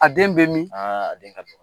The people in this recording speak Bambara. A den bɛ min